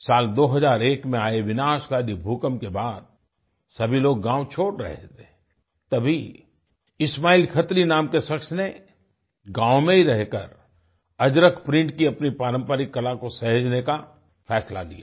साल 2001 में आए विनाशकारी भूकंप के बाद सभी लोग गाँव छोड़ रहे थे तभी इस्माइल खत्री नाम के शख्स ने गाँव में ही रहकर अजरक प्रिंट की अपनी पारंपरिक कला को सहेजने का फैसला लिया